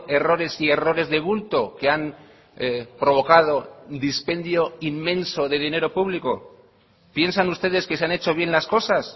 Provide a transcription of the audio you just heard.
errores y errores de bulto que han provocado dispendio inmenso de dinero público piensan ustedes que se han hecho bien las cosas